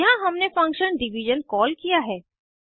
यहाँ हमने function division call किया है